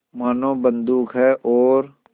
मानो बंदूक है और